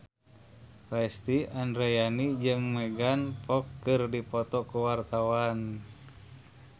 Lesti Andryani jeung Megan Fox keur dipoto ku wartawan